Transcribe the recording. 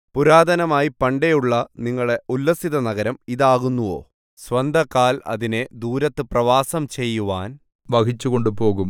പുരാതനമായി പണ്ടേയുള്ള നിങ്ങളുടെ ഉല്ലസിതനഗരം ഇതാകുന്നുവോ സ്വന്തകാല് അതിനെ ദൂരത്ത് പ്രവാസം ചെയ്യുവാൻ വഹിച്ചു കൊണ്ടുപോകും